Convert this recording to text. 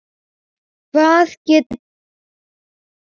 Hvað get ég gert betur?